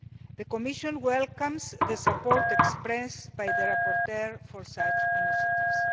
The Commission welcomes the support expressed by the rapporteur for such initiatives.